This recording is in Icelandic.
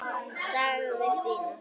sagði Stína.